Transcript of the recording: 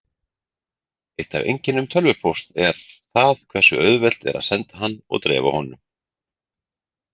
Eitt af einkennum tölvupósts er það hversu auðvelt er að senda hann og dreifa honum.